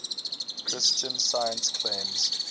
christian science claims